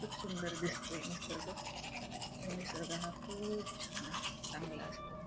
खूप सुंदर दिसतंय निसर्ग आणि निसर्ग हा खूप छान असतो चांगला असतो.